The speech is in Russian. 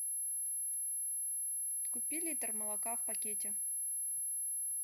купи литр молока в пакете